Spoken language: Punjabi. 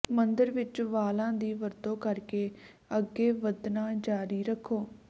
ਮੰਦਰ ਵਿਚ ਵਾਲਾਂ ਦੀ ਵਰਤੋਂ ਕਰਕੇ ਅੱਗੇ ਵਧਣਾ ਜਾਰੀ ਰੱਖੋ